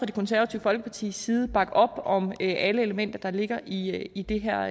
det konservative folkepartis side bakke op om alle elementer der ligger i i det her